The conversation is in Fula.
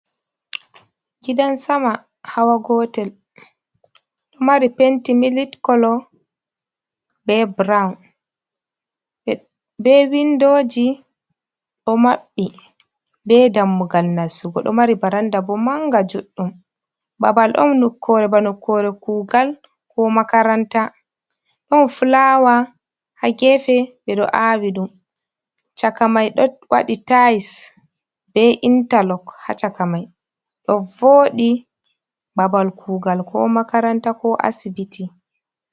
Gidansama hawa gotel do mari penti milit kolo be brown be windoji do mabbi be dammugal nasugo do mari baranda bo manga juddum. Babɓal don nukkore banukkure kugal ko makaranta don fulawa ha gefe be ɗo awi ɗum chaka mai do waɗi tais bé intarlog ha chaka mai ɗo vodi babal kugal ko makaranta ko asibiti.